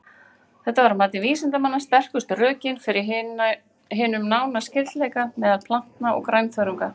Þetta er að mati vísindamanna sterkustu rökin fyrir hinum nána skyldleika meðal plantna og grænþörunga.